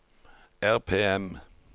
RPM